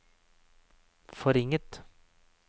forringet